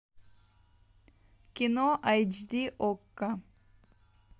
кино айч ди окко